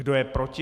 Kdo je proti?